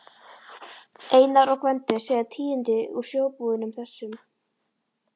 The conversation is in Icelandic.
Einar og Gvendur segja tíðindi úr sjóbúðunum, þessum